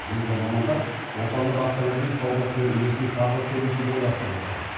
енді мамандар отандық автомобиль саудасының үлесін тағы көбейтуді ойластырып отыр